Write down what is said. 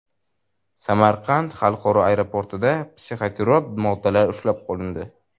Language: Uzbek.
Samarqand xalqaro aeroportida psixotrop moddalar ushlab qolindi.